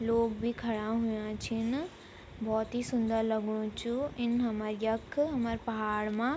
लोग भी खड़ा हुयां छिन भोत ही सुन्दर लगनु च इन हरम यख हमर पहाड़ मा ।